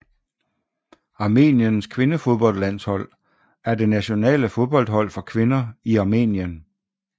Armeniens kvindefodboldlandshold er det nationale fodboldhold for kvinder i Armenien